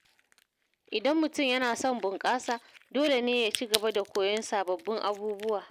Idan mutum yana son bunƙasa, dole ne ya cigaba da koyon sababbin abubuwa.